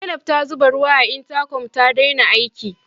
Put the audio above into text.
Zainab ta zube ruwa a intakom ta daina aiki.